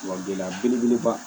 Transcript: Wa gɛlɛya belebeleba